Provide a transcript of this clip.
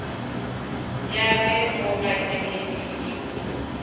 ya ge o gateletše ke